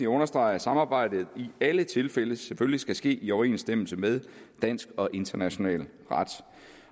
understrege at samarbejdet i alle tilfælde selvfølgelig skal ske i overensstemmelse med dansk og international ret